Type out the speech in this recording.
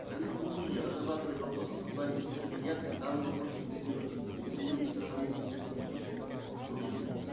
правительство грузии разрабатывает вопрос о создании института медиации данный вопрос инициируется самим министерством юстиции грузии